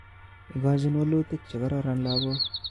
Ikochin wolutik chekororon lakok